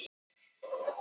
haust